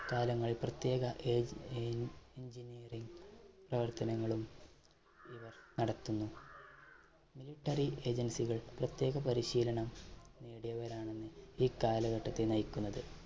കാലങ്ങൾ പ്രത്യേക എൻഎൻ engineering പ്രവർത്തനങ്ങളും ഇവർ നടത്തുന്നു. military agency കൾ പ്രത്യേക പരിശീലനം നേടിയവരാണെന്ന് ഈ കാലഘട്ടത്തെ നയിക്കുന്നത്.